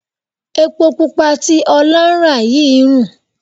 Epo pupa tí Ọlá ń rà yìí ń rùn.